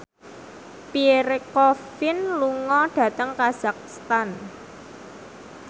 Pierre Coffin lunga dhateng kazakhstan